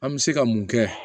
An bɛ se ka mun kɛ